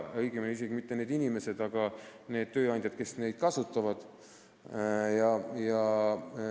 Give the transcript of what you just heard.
Õigemini ei tee seda isegi mitte need inimesed, aga need tööandjad, kes neid töötajaid kasutavad.